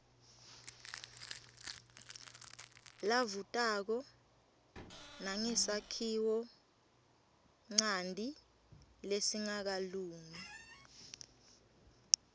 lavutako nangesakhiwonchanti lesingakalungi